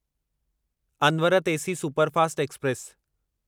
अनवरत AC superfast express